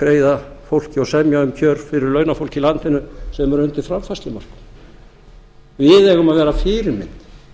greiða fólki og semja um kjör fyrir launafólk í landinu sem er undir framfærslumörkum við eigum að vera fyrirmynd